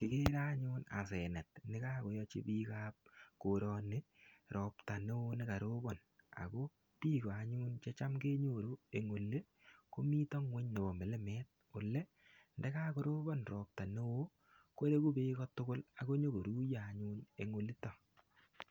igere anyun asenet ne kakoyachi ropta bik ab korani robta neo ne karobon . ako bik che cham kenyoru eng koroni ko mi ngony ne bo milimet . ye kakorobon ropta neo koibu bek ako nykoruiyo ngony yuto